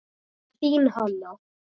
Þín Hanna.